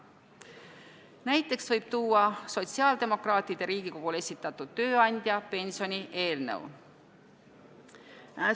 Näiteks võib tuua sotsiaaldemokraatide poolt Riigikogule esitatud tööandja pensioni eelnõu.